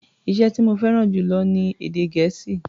Iṣẹ́ tí mo fẹ́ràn jù lọ ni èdè Gẹ̀ẹ́sì.